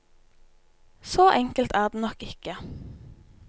Så enkelt er det nok ikke.